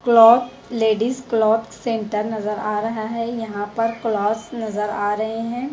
Cloth ladies cloth centre नजर आ रहा है यहां पर क्लॉथ्स नजर आ रहे हैं।